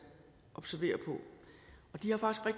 observere